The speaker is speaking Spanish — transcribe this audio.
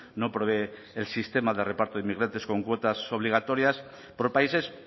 no prevé el sistema de reparto de inmigrantes con cuotas obligatorias por países